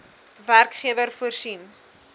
werkgewer voorsien